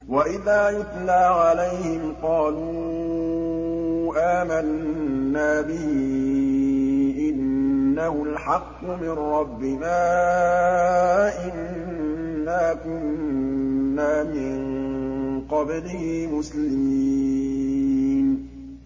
وَإِذَا يُتْلَىٰ عَلَيْهِمْ قَالُوا آمَنَّا بِهِ إِنَّهُ الْحَقُّ مِن رَّبِّنَا إِنَّا كُنَّا مِن قَبْلِهِ مُسْلِمِينَ